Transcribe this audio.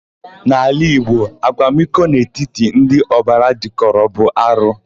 N'ala Igbo, akwamiko n'etiti ndị ọbara jịkọrọ bụ arụ.